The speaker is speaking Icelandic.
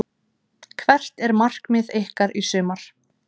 Hvert er markmið ykkar í sumar?